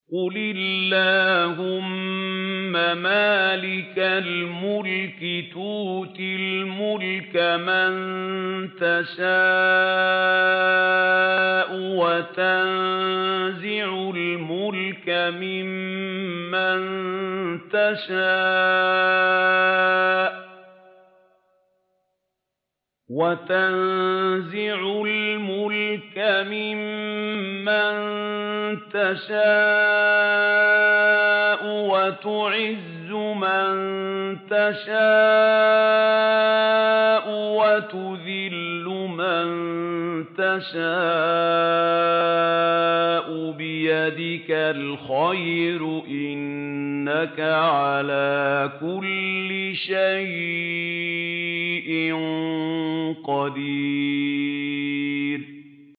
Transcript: قُلِ اللَّهُمَّ مَالِكَ الْمُلْكِ تُؤْتِي الْمُلْكَ مَن تَشَاءُ وَتَنزِعُ الْمُلْكَ مِمَّن تَشَاءُ وَتُعِزُّ مَن تَشَاءُ وَتُذِلُّ مَن تَشَاءُ ۖ بِيَدِكَ الْخَيْرُ ۖ إِنَّكَ عَلَىٰ كُلِّ شَيْءٍ قَدِيرٌ